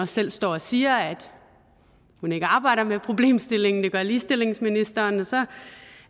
selv står og siger at hun ikke arbejder med problemstillingen for det gør ligestillingsministeren og så